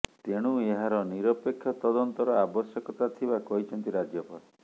ତେଣୁ ଏହାର ନିରପେକ୍ଷ ତଦନ୍ତର ଆବଶ୍ୟକତା ଥିବା କହିଛନ୍ତି ରାଜ୍ୟପାଳ